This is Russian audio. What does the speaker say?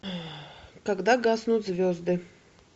когда гаснут звезды